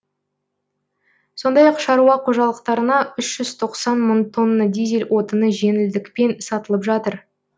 сондай ақ шаруа қожалықтарына үш жүз тоқсан мың тонна дизель отыны жеңілдікпен сатылып жатыр